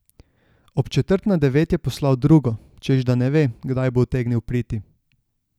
Ob četrt na devet je poslal drugo, češ da ne ve, kdaj bo utegnil priti.